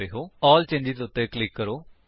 ALL changes ਉੱਤੇ click ਕਰੋ